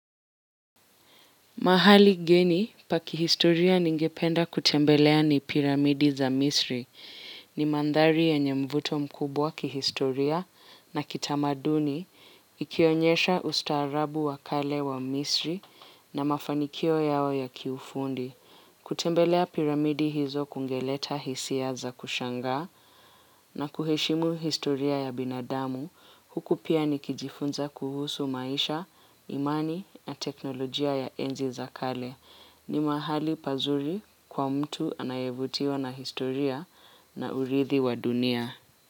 Mahali geni, pa ki0historia ningependa kutembelea ni piramidi za misri, ni mandhari yenye mvuto mkubwa kihistoria na kitamaduni, ikionyesha ustaarabu wa kale wa misri na mafanikio yao ya kiufundi. Kutembelea piramidi hizo kungeleta hisia za kushangaa na kuheshimu historia ya binadamu, huku pia nikijifunza kuhusu maisha, imani, na teknolojia ya enzi za kale. Ni mahali pazuri kwa mtu anayevutiwa na historia na uridhi wa dunia.